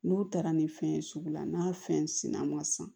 N'u taara ni fɛn ye sugu la n'a fɛn sina ma san